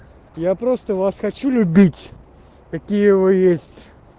я просто вас хочу любить какие вы есть